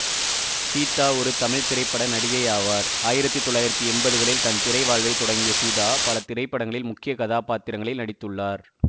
சீதா ஒரு தமிழ் திரைப்பட நடிகையாவார் ஆயிரத்தி தொள்ளாயிரத்தி எம்பதுகளில் தன் திரை வாழ்வை தொடங்கிய சீதா பல திரைப்படங்களில் முக்கிய கதாப்பாத்திரங்களில் நடித்துள்ளார்